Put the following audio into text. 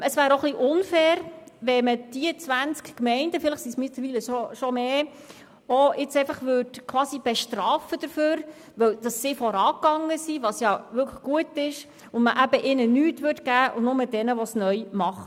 Es wäre unfair, wenn die zwanzig Gemeinden – inzwischen sind es vielleicht sogar mehr – für ihr Vorangehen bestraft würden und ihnen nichts gegeben würde, sondern nur den Neuen.